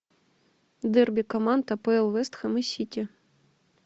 дерби команд апл вест хэм и сити